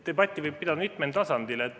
Debatti võib pidada mitmel tasandil.